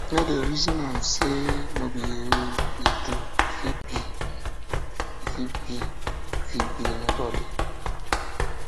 no dey resin am sey no be you e do um e fit be fit be um anybodi